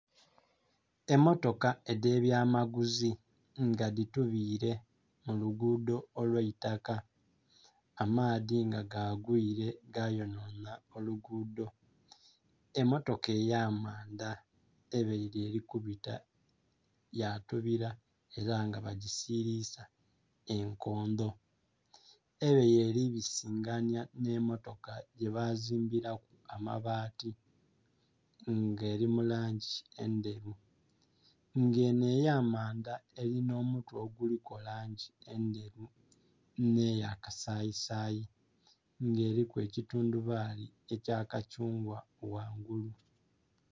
Emmotoka edh'ebyamaguzi nga dhitubiile mu luguudho olw'eitaka. Amaadhi nga gaagwiile gayonhonha oluguudho. Emmotoka ey'amanda ebaile eli kubita yatubila ela nga bagisibiisa enkondho, ebaile eli bisinganya nh'emmotoka gyebazimbilaku amabaati nga eli mu langi endheru, nga enho ey'amanda elinha omutwe oguliku langi endheru nh'eya kasayisayi nga eliku ekitundhubaali ekya kathungwa ghangulu.